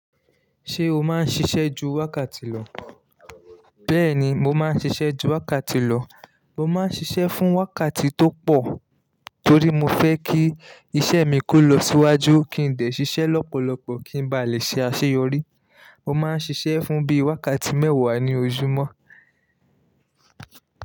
Ṣé o máa ń ṣiṣẹ́ ju wákàtí lọ? Bẹ́ẹ̀ni, mo máa ń ṣiṣẹ́ ju wákàtí lọ. Mo máa ń ṣiṣẹ́ fún wákàtí tó pọ̀ torí mo fẹ́ kí iṣẹ́ mi kó lọ síwájú, kí n dè ṣiṣẹ́ lọ́pọ̀lọpọ̀ kí n ba lè ṣe àṣeyọrí. Mo máa ń ṣiṣẹ́ fún bí i wákàtí mẹ́wàá ní ojúmọ́.